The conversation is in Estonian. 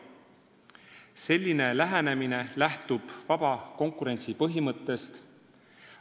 Selline lähenemine lähtub vaba konkurentsi põhimõttest.